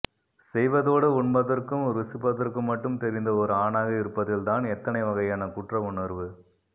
செய்வதோடு உண்பதற்கும் ருசிப்பதற்கும் மட்டும் தெரிந்த ஒரு ஆணாக இருப்பதில் தான் எத்தனை வகையான குற்றவுணர்வு